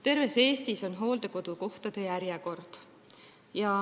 Terves Eestis on hooldekodukohtade järjekord.